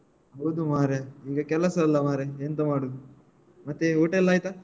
ಹೌದು ಮಾರಾಯ ನಿಂಗ್ಗೆ ಕೆಲಸ ಇಲ್ಲಾ ಮಾರಾಯ ಎಂತ ಮಾಡುದು ಮತ್ತೆ ಊಟ ಎಲ್ಲ ಆಯ್ತಾ?